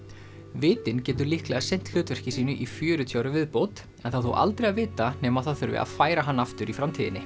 vitinn getur líklega sinnt hlutverki sínu í fjörutíu ár í viðbót það er þó aldrei að vita nema það þurfi að færa hann aftur í framtíðinni